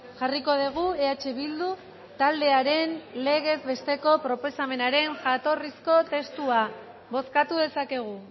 jarriko dugu eh bildu taldearen legez besteko proposamenaren jatorrizko testua bozkatu dezakegu